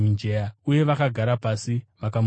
Uye vakagara pasi, vakamurinda.